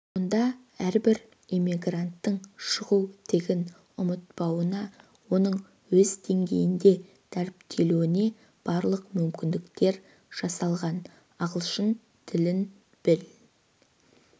мұнда әрбір иммигранттың шығу тегін ұмытпауына оның өз деңгейінде дәріптелуіне барлық мүмкіндіктер жасалған ағылшын тілін біл